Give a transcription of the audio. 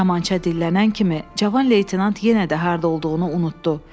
Kamança dillənən kimi cavan leytenant yenə də harda olduğunu unutdu.